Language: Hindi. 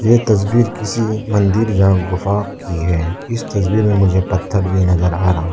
ये तस्वीर किसी मंदिर या गुफा की है इस तस्वीर में मुझे पत्थर भी नजर आ रहा--